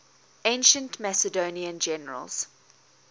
ancient macedonian generals